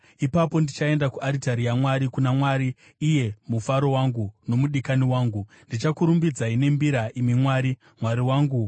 Ipapo ndichaenda kuaritari yaMwari, kuna Mwari, iye mufaro wangu nomudikani wangu. Ndichakurumbidzai nembira, imi Mwari, Mwari wangu.